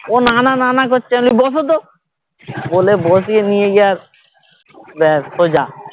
ও না না না না করছে আমি বলছি বসো তো বলে বসিয়ে নিয়ে যাচ্ছি ব্যাস সোজা